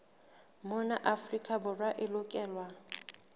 mona afrika borwa e lokelwa